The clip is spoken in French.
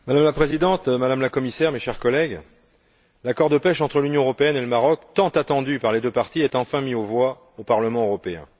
Madame la Présidente, Madame la Commissaire, chers collègues, l'accord de pêche entre l'Union européenne et le Maroc, tant attendu par les deux parties, est enfin mis aux voix au Parlement européen.